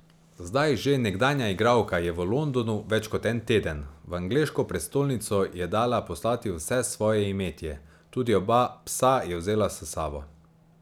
Zdaj že nekdanja igralka je v Londonu več kot en teden, v angleško prestolnico je dala poslati vse svoje imetje, tudi oba psa je vzela s sabo.